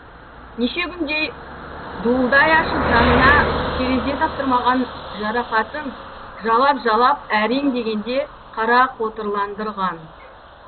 неше күндей дуылдай ашып жанына терезе таптырмаған жарақатын жалап жалап әрең дегенде қарақотырландырған